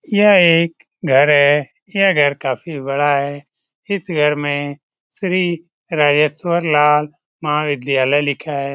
यह एक घर है यह घर काफी बड़ा है इस घर में श्री राजेश्वर लाल महाविद्यालय लिखा है।